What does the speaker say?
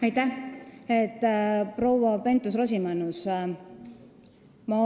Aitäh, proua Pentus-Rosimannus!